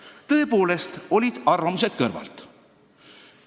Aga tõepoolest, olid ka arvamused kõrvalt.